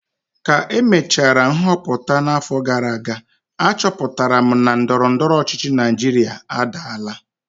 ka emechara nhọpụta n'afọ gara aga, achọpụtara m na ndọrọ ndọrọ ọchịchị Naijiria adaala